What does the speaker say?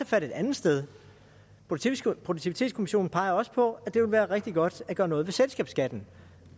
fat et andet sted produktivitetskommissionen peger også på at det ville være rigtig godt at gøre noget ved selskabsskatten